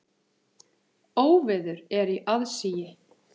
Óveður er í aðsigi.